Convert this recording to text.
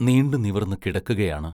നീണ്ടു നിവർന്ന് കിടക്കുകയാണ്.